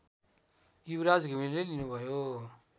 युवराज घिमिरेले लिनुभयो